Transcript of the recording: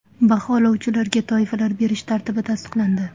Baholovchilarga toifalar berish tartibi tasdiqlandi.